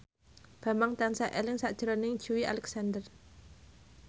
Bambang tansah eling sakjroning Joey Alexander